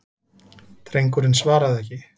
Drengurinn svaraði ekki.